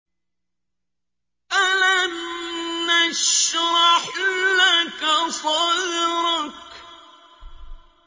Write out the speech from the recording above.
أَلَمْ نَشْرَحْ لَكَ صَدْرَكَ